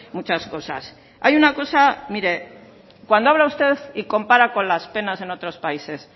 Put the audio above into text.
muchas cosas hay una cosa mire cuando habla usted y compara con las penas en otros países